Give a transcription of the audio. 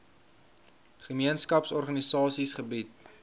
gemeenskaps organisasies gebied